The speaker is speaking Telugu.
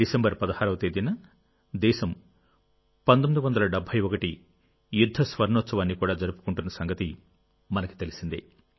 డిసెంబర్ 16వ తేదీన దేశం 1971 యుద్ధ స్వర్ణోత్సవాన్ని కూడా జరుపుకుంటున్న సంగతి మనకు తెలిసిందే